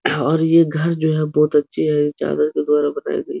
और ये घर जो है बहोत अच्छी है। के द्वारा बनायीं गई --